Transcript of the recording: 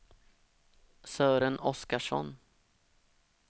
Sören Oskarsson